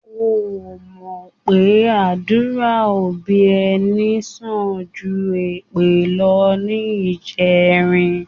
O ò mọ̀ pé àdúrà òbí ẹni sàn ju èpè lọ níjẹrin?